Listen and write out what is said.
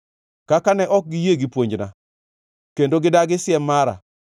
Kaka ne ok giyie gi puonjna kendo gidagi siem mara,